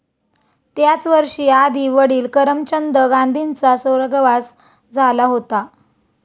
त्याच वर्षी आधी वडिल करमचंद गांधींचा स्वर्गवास झाला होता.